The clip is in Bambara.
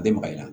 A bɛ magaya